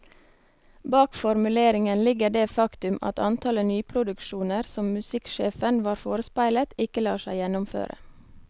Bak formuleringen ligger det faktum at antallet nyproduksjoner som musikksjefen var forespeilet, ikke lar seg gjennomføre.